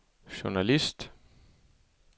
journalist